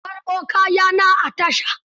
Jiya na karɓo kaya na a tasha.